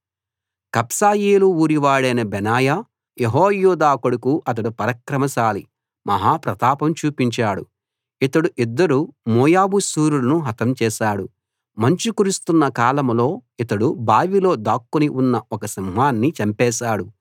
కబ్సెయేలు ఊరివాడైన Benaiah Jehoiada కొడుకు అతడు పరాక్రమశాలి మహా ప్రతాపం చూపించాడు ఇతడు ఇద్దరు మోయాబు శూరులను హతం చేశాడు మంచు కురుస్తున్న కాలంలో ఇతడు బావిలో దాక్కుని ఉన్న ఒక సింహాన్ని చంపేశాడు